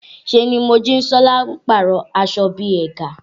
Ṣé ni Mojisola ń pàrọ̀ aṣọ bí i ẹ̀gà